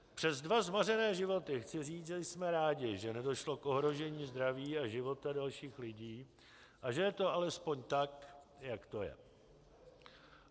Přes dva zmařené životy chci říci, že jsme rádi, že nedošlo k ohrožení zdraví a života dalších lidí a že je to alespoň tak, jak to je.